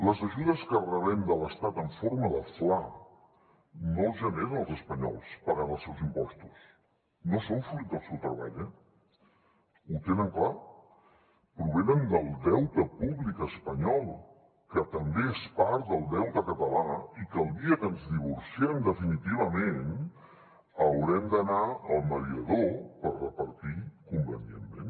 les ajudes que rebem de l’estat en forma de fla no les generen els espanyols pagant els seus impostos no són fruit del seu treball eh ho tenen clar provenen del deute públic espanyol que també és part del deute català i que el dia que ens divorciem definitivament haurem d’anar al mediador per repartir convenientment